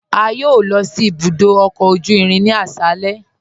A yọ̀ọ̀ lọ sí ibùdó ọkọ ojú irin ni aṣálẹ̀